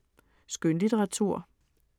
Skønlitteratur